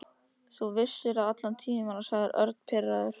Þú vissir það allan tímann, sagði Örn pirraður.